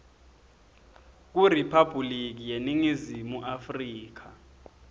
kuriphabhuliki yeningizimu afrika